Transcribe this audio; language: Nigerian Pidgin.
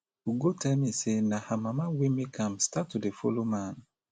ugo tell me say na her mama wey make am start to dey follow man